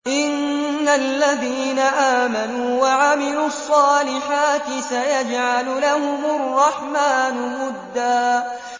إِنَّ الَّذِينَ آمَنُوا وَعَمِلُوا الصَّالِحَاتِ سَيَجْعَلُ لَهُمُ الرَّحْمَٰنُ وُدًّا